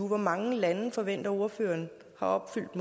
hvor mange lande forventer ordføreren har opfyldt